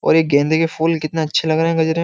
और ये गेंदे के फूल कितने अच्छे लग रहे हैं गजरे में --